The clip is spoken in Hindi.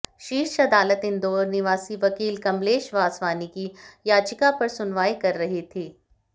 शीर्ष अदालत इंदौर निवासी वकील कमलेश वासवानी की याचिका पर सुनवाई कर रही थी